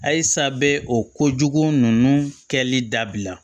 Ayisa bɛ o ko jugu ninnu kɛli dabila